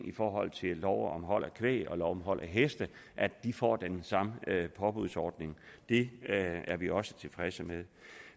i forhold til lov om hold af kvæg og lov om hold af heste får den samme påbudsordning det er vi også tilfredse med